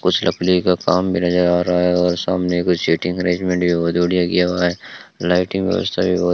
कुछ लकड़ी का काम भी नजर आ रहा है और सामने कुछ सीटिंग अरेंजमेंट भी बहुत बढ़िया किया हुआ है लाइटिंग व्यवस्था भी बहुत --